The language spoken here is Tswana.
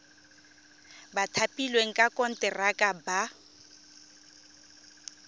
ba thapilweng ka konteraka ba